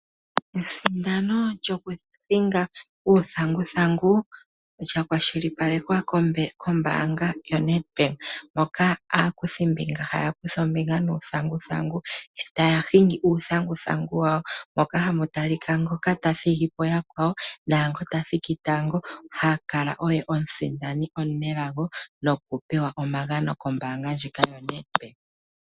Esimano lyoku hinga uuthanguthangu lyakwashilipalekwa kombaanga yoNedbank, moka aakuthi mbinga haya kutha ombinga nuuthanguthangu etaya hingi uuthanguthangu wawo. Ohamu talika ngoka ta thigi po yakwawo eta ningi omusindani nokupewa omagano kombaanga ndjika yoNedbank.